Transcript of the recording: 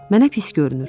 Mənə pis görünür.